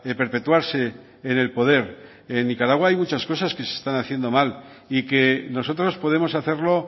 perpetuarse en el poder en nicaragua hay muchas cosas que se están haciendo mal y que nosotros podemos hacerlo